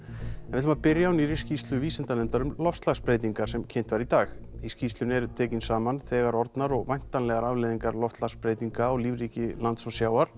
en við byrjum á nýrri skýrslu vísindanefndar um loftslagsbreytingar sem kynnt var í dag í skýrslunni eru teknar saman þegar orðnar og væntanlegar afleiðingar loftslagsbreytinga á lífríki lands og sjávar